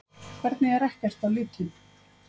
Hvernig er ekkert á litinn?